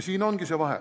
Siin ongi vahe.